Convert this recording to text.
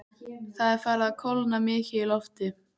Það er farið að kólna mikið í lofti.